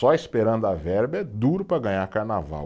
Só esperando a verba é duro para ganhar carnaval.